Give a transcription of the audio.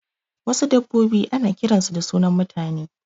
Wasu dabbobi ana kiran su da sunan mutane